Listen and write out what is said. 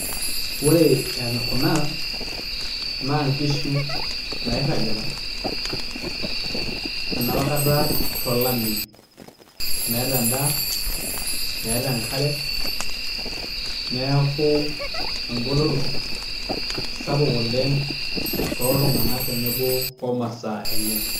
Ore kuna naa nkishu nairragita enopa kata to lameyu, meeta endaa, meeta enkare neeku engoloto sapuk oleng tooltung'anak tenebo omasaa enye